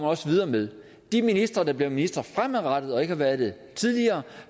også videre med de ministre der bliver ministre fremadrettet og ikke har været det tidligere